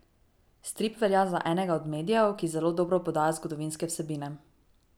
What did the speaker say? Strip velja za enega od medijev, ki zelo dobro podaja zgodovinske vsebine.